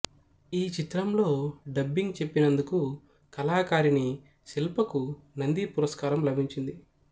ఈ చిత్రంలో డబ్బింగ్ చెప్పినందుకు కళాకారిణి శిల్పకు నంది పురస్కారం లభించింది